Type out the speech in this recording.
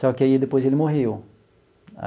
Só que aí, depois, ele morreu.